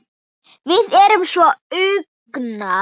Við erum svo ungar.